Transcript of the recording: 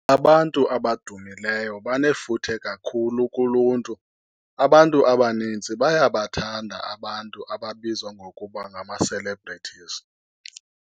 Abantu abadumileyo banefuthe kakhulu kuluntu. Abantu abaninzi bayabathanda abantu ababizwa ngokuba ngama-celebrities.